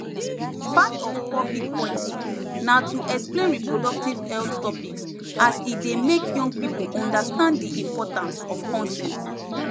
part of public policy na to explain reproductive health topics as e dey make young people understand di importance of consent